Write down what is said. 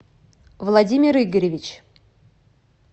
владимир игоревич